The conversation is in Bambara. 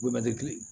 Bɛɛ tɛ kelen ye